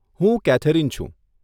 હું કેથેરીન છું.